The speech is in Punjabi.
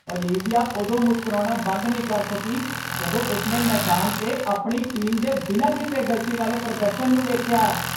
ਓਲਿਵੀਆ ਉਦੋਂ ਮੁਸਕਰਾਉਣਾ ਬੰਦ ਨਹੀਂ ਕਰ ਸਕੀ ਜਦੋਂ ਉਸਨੇ ਮੈਦਾਨ 'ਤੇ ਆਪਣੀ ਟੀਮ ਦੇ ਬਿਨਾਂ ਕਿਸੇ ਗਲਤੀ ਵਾਲੇ ਪ੍ਰਦਰਸ਼ਨ ਨੂੰ ਵੇਖਿਆ